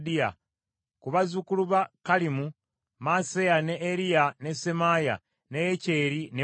Ku bazzukulu ba Kalimu: Maaseya, ne Eriya, ne Semaaya, ne Yekyeri ne Uzziya.